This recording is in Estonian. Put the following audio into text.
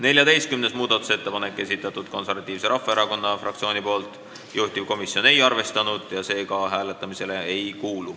14. muudatusettepaneku on esitanud Eesti Konservatiivse Rahvaerakonna fraktsioon, juhtivkomisjon ei ole arvestanud, see ei kuulu ka hääletamisele.